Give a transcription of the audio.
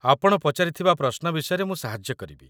ଆପଣ ପଚାରିଥିବା ପ୍ରଶ୍ନ ବିଷୟରେ ମୁଁ ସାହାଯ୍ୟ କରିବି